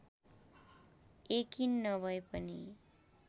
यकिन नभए पनि